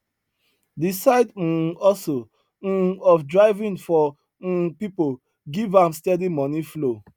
the side um hustle um of driving for um people give am steady money flow